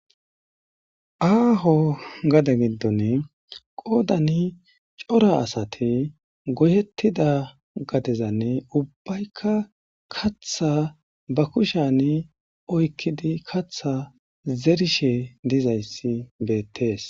aaho gade giddone qoodani cora asati goyettida gadezanne ubbaykka katha ba kushani oykkidi katha zerishe dizayssi beettees